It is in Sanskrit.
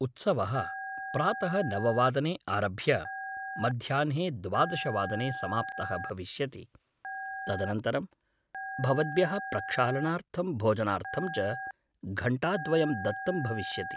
उत्सवः प्रातः नव वादने आरभ्य मध्याह्ने द्वादश वादने समाप्तः भविष्यति, तदनन्तरं भवद्भ्यः प्रक्षालनार्थं भोजनार्थं च घण्टाद्वयं दत्तं भविष्यति।